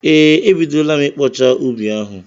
Ee, e bidola m ịkpọcha ubi ahụ.